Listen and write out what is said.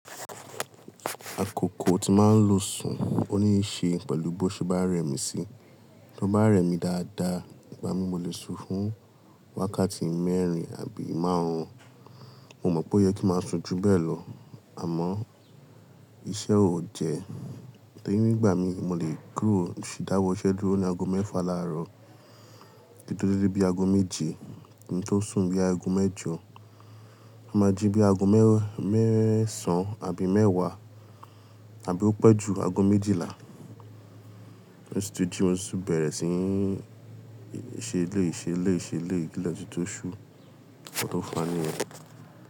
Àkókò tí màá ń lo sùn ó ní ṣe pẹ̀lú bó ṣe bá rẹmi sí. Bí ó bá rẹmi dáadáa, ìgbà mí mo lè su fún wákàtí mẹ́rin àbí márùn-ún. Mo mọ̀ pé ó yẹ kí màá sun jù bẹ́ẹ̀ lọ, àmọ́ iṣẹ́ ò jẹ́. Tori ni ìgbà mí mo lè kúrò, dáwọ́ iṣẹ́ dúró ní ago mẹ́fà láàárọ̀. Ki n tó déle bí ago méje, kin tó sùn bi ago mẹ́jọ. A máa jí bí ago mẹ́ẹ̀sán àbí mẹ́wàá àbí ó pẹ́ ju ago méjìlá. Mo ti jí mo ti bẹ̀rẹ̀ sí ní ṣe eleyi, ṣe eleyi, ṣe eleyi. Ìle tunti ṣú, nkan to faa niyen.